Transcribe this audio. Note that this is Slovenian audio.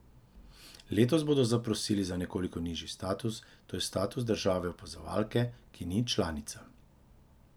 Letos bodo zaprosili za nekoliko nižji status, to je status države opazovalke, ki ni članica.